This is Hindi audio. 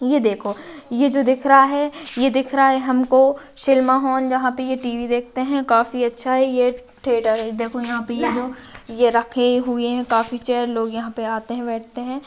ये देखो ये जो दिख रा है ये दिख रा है हमको सिनेमा होम जहा पे ये टी.वी. देखते है काफी अच्छा है ये थियेटर है देखो यहा पे यो दो ये रखे हुवे है काफी चेयर लोग यहा पे आते है बैठ ते है।